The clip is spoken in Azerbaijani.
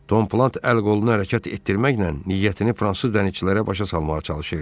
Tom Plat əl-qolunu hərəkət etdirməklə niyyətini fransız dənizçilərə başa salmağa çalışırdı.